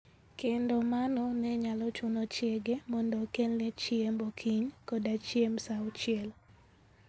Kendo mano ne nyalo chuno chiege mondo okelne chiemb okinyi koda chiemb sa auchiel.